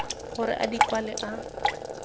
gore a di kwale a